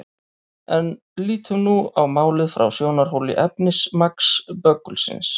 En lítum nú á málið frá sjónarhóli efnismagns böggulsins.